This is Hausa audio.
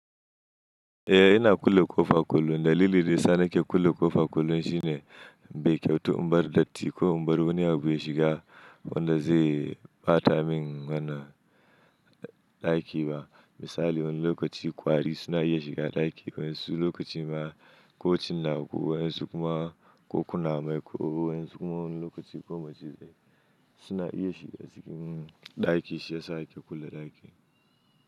Eh ina kulle ƙofa kullum. Dalilin desa na ke kulle ƙofa kullum shine bai kyautu in bar datti ko in bar wani abu ya shiga wanda zai bata min wannan ɗaki ba. Misali wan lokaci ƙwari suna iya shiga ɗaki, wasu lokaci ma ƙo cinaku, wasu kuma ƙo kuna mai ko, wasu kuma wani lokaci ƙo macizai suna iya shiga cikin ɗaki shi yasa ake kulle ɗaki.